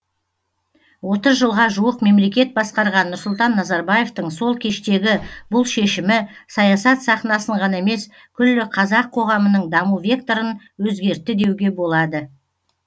отыз жылға жуық мемлекет басқарған нұрсұлтан назарбаевтың сол кештегі бұл шешімі саясат сахнасын ғана емес күллі қазақ қоғамының даму векторын өзгертті деуге болады